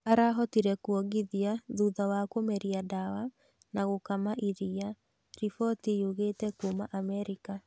Arahotire kwongithia thutha wa kũmeria ndawa na gũkama iria, riboti yugĩte kuma Amerika.